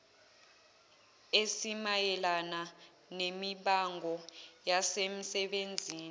esimayelana nemibango yasemsebenzini